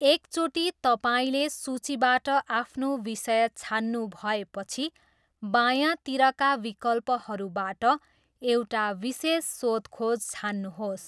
एकचोटि तपाईँले सूचीबाट आफ्नो विषय छान्नुभएपछि बायाँतिरका विकल्पहरूबाट एउटा विशेष सोधखोज छान्नुहोस्।